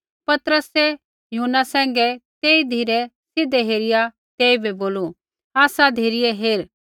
पतरसै यूहन्ना सैंघै तेई धिरै सीधै हेरिया तेइबै बोलू आसा धिरै हेर